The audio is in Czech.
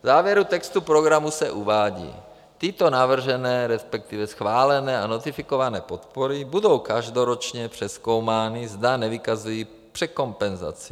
- V závěru textu programu se uvádí: tyto navržené, respektive schválené a notifikované podpory budou každoročně přezkoumány, zda nevykazují překompenzaci.